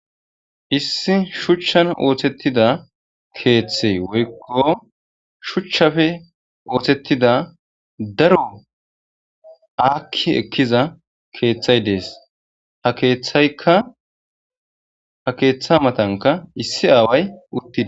Issi shuuchchan ooththettida keeththey woykko shuuchchappe oothettida daro aakki ekkiza keeththay dees ha keeththaykka ha keeththa matankka issi aaway uttides